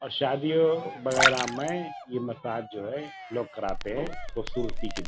और शादियों वगैरह में ये मसाज जो हैं लोग कराते हैं खूबसूरती के लिए।